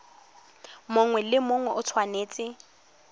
mongwe le mongwe o tshwanetse